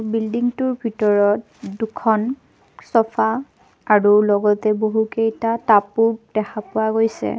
বিল্ডিংটোৰ ভিতৰত দুখন চফা আৰু লগতে বহুকেইটা টাবও দেখা পোৱা গৈছে।